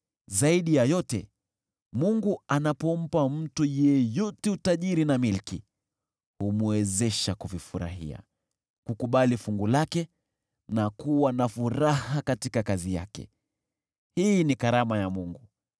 Zaidi ya yote, Mungu anapompa mtu yeyote utajiri na milki, humwezesha kuvifurahia, kukubali fungu lake na kuwa na furaha katika kazi yake, hii ni karama ya Mungu.